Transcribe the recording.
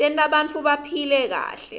tenta bantfu baphile kahle